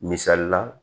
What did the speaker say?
Misalila